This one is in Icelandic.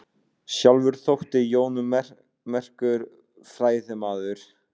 Sjálfur þótti Jón merkur fræðimaður.